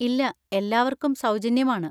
ഇല്ല, എല്ലാർക്കും സൗജന്യമാണ്.